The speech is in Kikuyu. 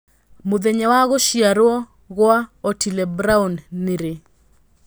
mũthenya wa gũcĩarwo gwa Otîle Brown nĩ rĩ